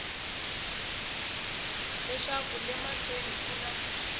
leswaku le mahlweni ku na